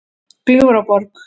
Gljúfraborg